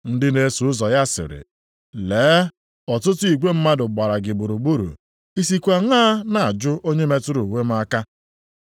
Ndị na-eso ụzọ ya sịrị, “Lee ọtụtụ igwe mmadụ gbara gị gburugburu, i sikwa aṅaa na-ajụ, ‘Onye metụrụ uwe m aka?’ ”